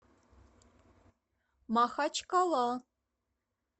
махачкала